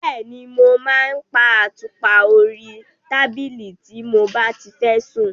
Bẹ́ẹ̀ni, mo máa ń pa àtùpà orí tábìlì tí mo bá ti fẹ́ sùn.